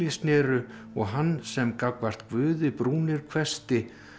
snéru og hann sem gagnvart Guði brúnir hvessti